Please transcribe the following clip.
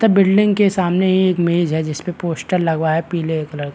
तब बिल्डिंग के सामने एक इमेज है जिसपे पोस्टर लगा है पीले कलर का।